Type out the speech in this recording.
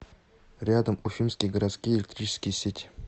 рядом уфимские городские электрические сети